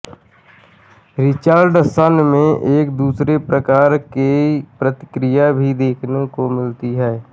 Richardson में एक दूसरे प्रकार की प्रतिक्रिया भी देखने को मिलती है